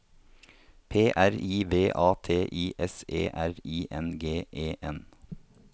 P R I V A T I S E R I N G E N